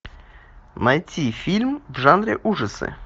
найти фильм в жанре ужасы